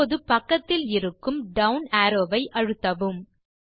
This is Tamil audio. இப்போது பக்கத்தில் இருக்கும் டவுன் அரோவ் ஐ அழுத்தவும்